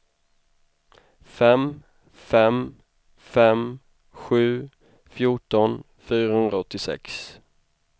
fem fem fem sju fjorton fyrahundraåttiosex